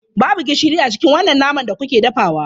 Babu gishiri a cikin wannan naman da kuke dafawa.